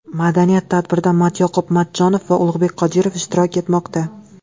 Madaniy tadbirda Matyoqub Matchonov va Ulug‘bek Qodirov ishtirok etmoqda.